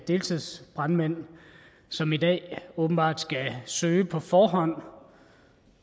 deltidsbrandmænd som i dag åbenbart skal søge på forhånd